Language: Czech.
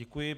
Děkuji.